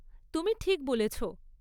তুমি ঠিক বলেছ।